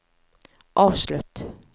avslutt